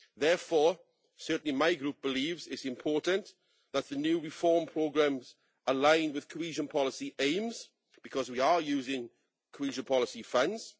Therefore, my group believes it is important that the new reform programmes align with cohesion policy aims, because we are using cohesion policy funds.